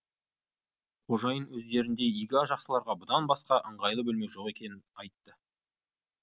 қожайын өздеріндей игі жақсыларға будан басқа ыңғайлы бөлме жоқ екенін айтты